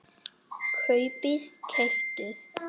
kaupið- keyptuð